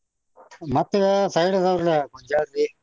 ಮತ್ತೆ side ಅದಾವ್ರಲ್ಲ .